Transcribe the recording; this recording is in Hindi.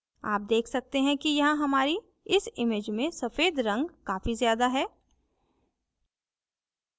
आप देख सकते हैं कि यहाँ हमारी इस image में सफ़ेद रंग काफी ज्यादा है